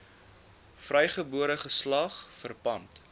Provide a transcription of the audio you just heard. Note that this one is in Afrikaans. vrygebore geslag verpand